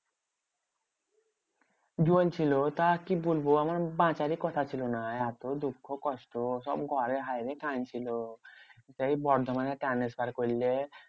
জ্বলছিল তা আর কি বলবো? আমার বাঁচারই কথা ছিল না। এত দুঃখ কষ্ট সব ঘরে হায়রে কাঁদছিলো। সেই বর্ধমানে transfer করলে